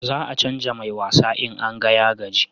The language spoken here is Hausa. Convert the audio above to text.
Za a canja mai wasa in an ga ya gaji